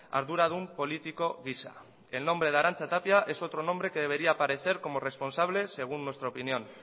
arduradun politiko gisa el nombre de arantza tapia es otro nombre que debería aparecer como responsable según nuestra opinión